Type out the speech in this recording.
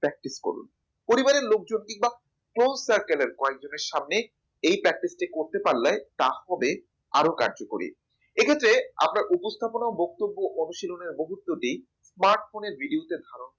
practice করুন পরিবারের লোকজন কিংবা close circle এর কয়েকজনের সামনে এই practice টি করতে পারলে তা হবে আরও কার্যকরী এক্ষেত্রে আপনার উপস্থাপনা বক্তব্য অনুশীলনের মুহূর্তটি smart phone video তে ছাড়ুন